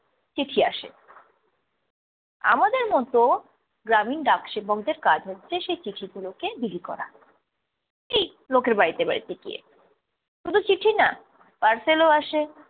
চিঠি আসে। আমাদের মতো গ্রামীণ ডাক সেবকদের কাজ হচ্ছে সেই চিঠিগুলোকে বিলি করা। এই লোকের বাড়িতে বাড়িতে গিয়ে। শুধু চিঠি না parcel ও আসে